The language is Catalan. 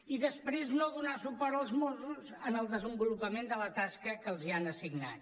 i després no donar suport als mossos en el desenvolupament de la tasca que els han assignat